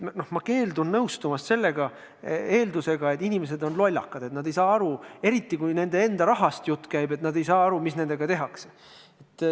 Ma keeldun nõustumast eeldusega, et inimesed on lollakad, et nad ei saa aru – eriti kui jutt käib nende enda rahast –, mis nendega tehakse.